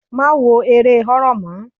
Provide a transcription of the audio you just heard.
Má wo eré horror mọ́.